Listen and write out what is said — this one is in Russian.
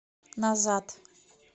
назад